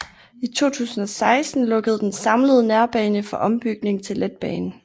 I 2016 lukkede den samlede nærbane for ombygning til letbane